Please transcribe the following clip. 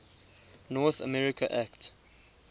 north america act